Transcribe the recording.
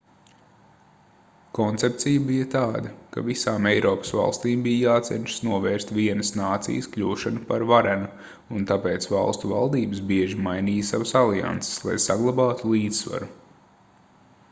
koncepcija bija tāda ka visām eiropas valstīm bija jācenšas novērst vienas nācijas kļūšanu par varenu un tāpēc valstu valdības bieži mainīja savas alianses lai saglabātu līdzsvaru